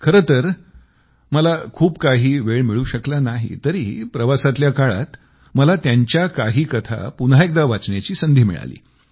खरंतर मला खूप काही वेळ मिळू शकला नाही तरीही प्रवासातल्या काळात मला त्यांच्या काही कथा पुन्हा एकदा वाचण्याची संधी मिळाली